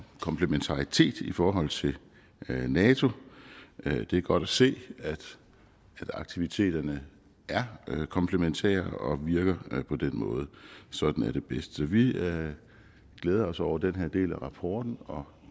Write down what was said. komplementaritet i forhold til nato det er godt at se at aktiviteterne er komplementære og virker på den måde sådan er det bedst så vi glæder os over den her del af rapporten og